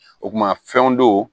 O kuma fɛnw don